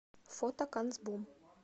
фото канцбум